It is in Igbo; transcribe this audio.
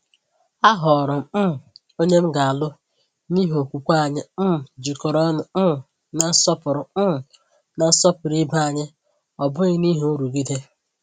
Ahọọrọ m um onye m ga-alụ n’ihi okwukwe anyị um jikọrọ ọnụ um na nsọpụrụ um na nsọpụrụ ibe anyị, ọ bụghị n’ihi nrụgide.